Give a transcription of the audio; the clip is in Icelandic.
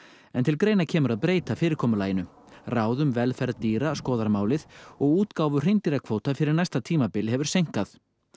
en til greina kemur að breyta fyrirkomulaginu ráð um velferð dýra skoðar málið og útgáfu fyrir næsta tímabil hefur seinkað